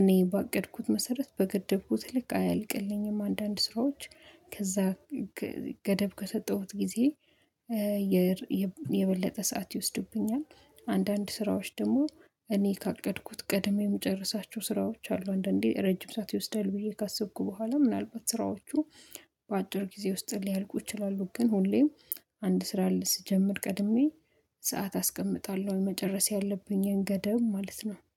እኔ ባቀድኩት መሰረት በገደብኩት ልክ አያልቅልኝም። አንዳንድ ስራዎች ከዛ ገደብ ከሰጠሁት ጊዜ የበለጠ ሰዓት ይወስዱብኛል። ስራዎች ደግሞ እኔ ካቀድኩት ቀድሜ የምጨርሳቸው ስራዎች አሉ። አንዳንዴ ረጅም ሰዓት ይወስዳል ብዬ ካሰብኩ በኋላ ምናልባት ስራዎቹ በአጭር ጊዜ ውስጥ ሊያልቁ ይችላሉ። ግን ሁሌም አንድ ስራ ልስጀምር ቀድሜ ሰዓት አስቀምጣለሁ መጨረስ ያለብኝን ገደብ ማለት ነው